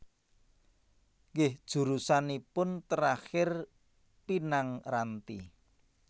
Nggih jurusanipun terakhir Pinang Ranti